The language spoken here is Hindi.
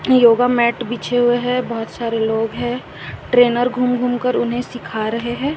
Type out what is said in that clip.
योगामैट बीचे हुए हैं बहुत सारे लोग हैं ट्रेनर घुम घुमकर उन्हें सिखा रहे हैं।